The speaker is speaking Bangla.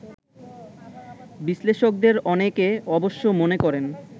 বিশ্লেষকদের অনেকে অবশ্য মনে করেন